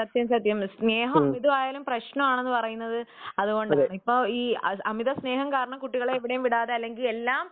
സത്യം സത്യം സ്നേഹം അമിതമായാലും പ്രശ്നമെന്ന് പറയുന്നത് അതുകൊണ്ടാണ് അമിത സ്നേഹം കാരണം കുട്ടികളെ എവിടെയും വിടാതെ അല്ലെങ്കിൽ എല്ലാം